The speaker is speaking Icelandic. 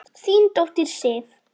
Þín dóttir, Sif.